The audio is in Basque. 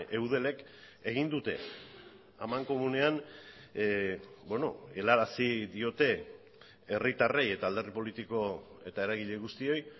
eudelek egin dute amankomunean helarazi diote herritarrei eta alderdi politiko eta eragile guztioi